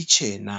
ichena.